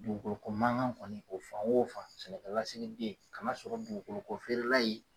Dugukolo ko mankan kɔni o fan o fan sɛnɛkɛ lasigiden kana sɔrɔ dugukolo ko feere la ye.